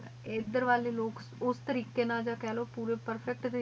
aider ਵਾਲੇ ਵਾਲੇ ਲੋਗ ਉਸ ਤੇਰਿਕ਼ਾਯ ਨਾਲ ਕਾ ਲੋ